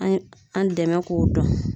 An ye an dɛmɛ k'o dɔn.